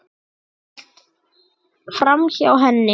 Ég hélt framhjá henni.